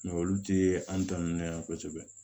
olu tɛ an ta ninnu yan kosɛbɛ